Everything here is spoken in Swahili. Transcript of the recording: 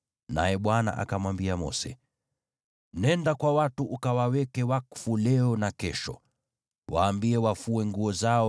Naye Bwana akamwambia Mose, “Nenda kwa watu ukawaweke wakfu leo na kesho. Waambie wafue nguo zao